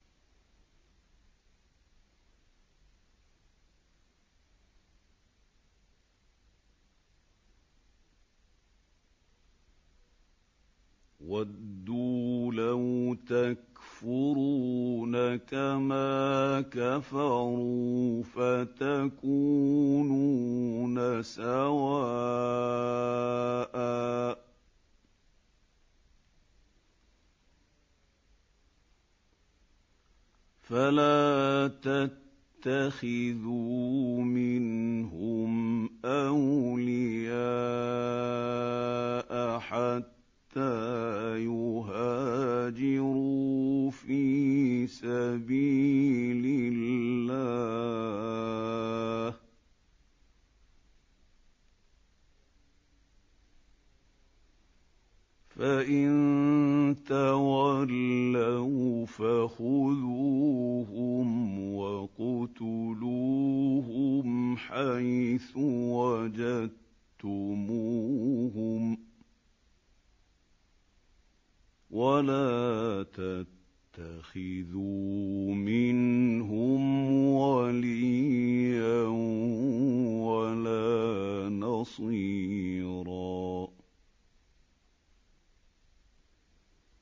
وَدُّوا لَوْ تَكْفُرُونَ كَمَا كَفَرُوا فَتَكُونُونَ سَوَاءً ۖ فَلَا تَتَّخِذُوا مِنْهُمْ أَوْلِيَاءَ حَتَّىٰ يُهَاجِرُوا فِي سَبِيلِ اللَّهِ ۚ فَإِن تَوَلَّوْا فَخُذُوهُمْ وَاقْتُلُوهُمْ حَيْثُ وَجَدتُّمُوهُمْ ۖ وَلَا تَتَّخِذُوا مِنْهُمْ وَلِيًّا وَلَا نَصِيرًا